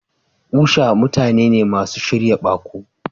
Usha mutane ne masu shirya baƙo.